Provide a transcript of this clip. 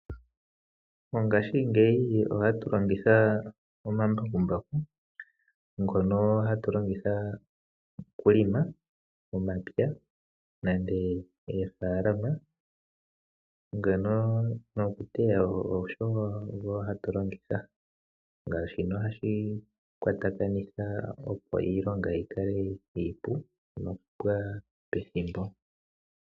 Mongashingeyi ohatu longitha omambakumbaku, ngono hatu longitha okuhelela momapya nande oofalama, ngono nokuteya wo ogo hatu longitha naashino ohashi kwatha, opo iilonga yi kale iipu nokupwa pethimbo.